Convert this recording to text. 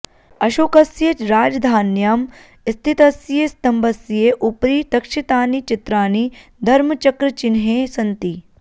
अशोकस्य राजधान्यां स्थितस्य स्तम्भस्य उपरि तक्षितानि चित्राणि धर्मचक्रचिह्ने सन्ति